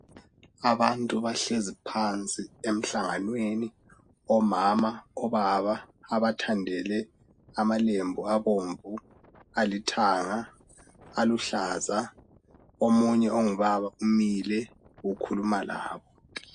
Abantu bahlezi phansi emhlanganyweni omama obaba abathandele amalembu abomvu alithanga aluhlaza omunye ongubaba umile ukhuluma labo